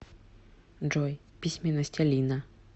джой письменность алина